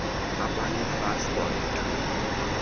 abane fas kwangethuba